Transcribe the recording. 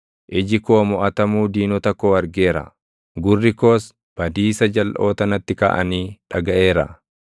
Iji koo moʼatamuu diinota koo argeera; gurri koos badiisa jalʼoota natti kaʼanii dhagaʼeera.